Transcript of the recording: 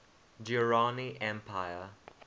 durrani empire